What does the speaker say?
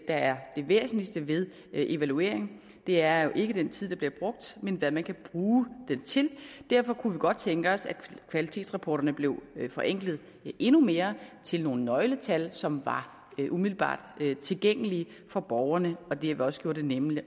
er det væsentligste ved evaluering det er jo ikke den tid der bliver brugt men hvad man kan bruge den til derfor kunne vi godt tænke os at kvalitetsrapporterne blev forenklet endnu mere til nogle nøgletal som var umiddelbart tilgængelige for borgerne og derved også gjorde det nemmere